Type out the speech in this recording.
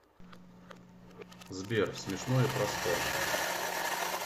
сбер смешное про спорт